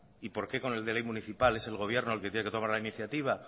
y por qué con el de ley municipal es el gobierno el que tiene que tomar la iniciativa